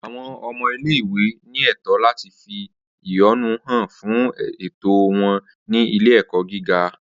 Awọn ọmọ ile-iwe ni ẹtọ lati fi ehonu han fun ẹtọ wọn ni ile-ẹkọ giga